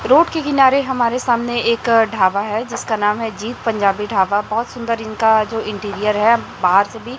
road के किनारे हमारे सामने एक ढाबा है जिसका नाम है जीत पंजाबी ढाबा बहोत सुंदर इनका जो इंटीरियर है बाहर से भी--